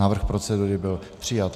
Návrh procedury byl přijat.